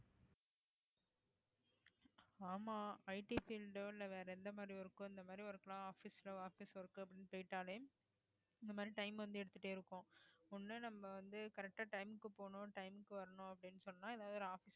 ஆமா IT field ஓ இல்லை வேற எந்த மாதிரி இருக்கோ இந்த மாதிரி இருக்கலாம் office ல office work அப்படின்னு போயிட்டாலே இந்த மாதிரி time வந்து எடுத்துட்டே இருக்கோம் ஒண்ணு நம்ம வந்து correct ஆ time க்கு போணும் time க்கு வரணும் அப்படின்னு சொன்னா ஏதாவது ஒரு office